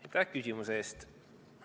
Aitäh küsimuse eest!